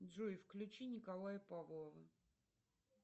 джой включи николая павлова